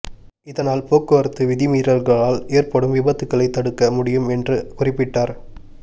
இதனால் போக்குவரத்து விதிமீறல்களால் ஏற்படும் விபத்துகளை தடுக்க முடியும் என்று குறிப்பிட்டார்